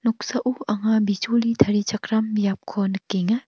noksao anga bijoli tarichakram biapko nikenga.